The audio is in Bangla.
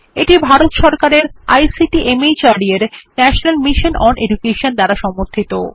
এটি ভারত সরকারের আইসিটি মাহর্দ এর ন্যাশনাল মিশন ওন এডুকেশন দ্বারা সমর্থিত